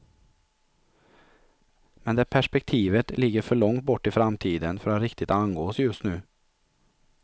Men det perspektivet ligger för långt bort i framtiden, för att riktigt angå oss just nu.